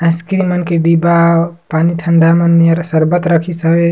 Ice cream मन के डिब्बा पानी ठंडा मन नियर शर्बत रखिस हवे।